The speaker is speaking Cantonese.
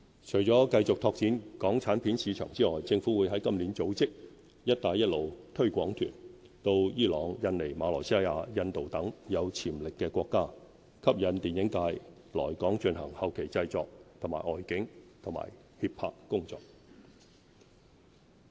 除了繼續拓展港產片市場之外，政府會在今年起組織"一帶一路"推廣團，到伊朗、印尼、馬來西亞、印度等有潛力的國家，吸引電影界來港進行後期製作和外景及協拍工作。